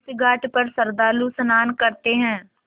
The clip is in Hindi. इस घाट पर श्रद्धालु स्नान करते हैं